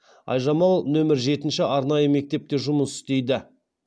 айжамал нөмірі жетінші арнайы мектепте жұмыс істейді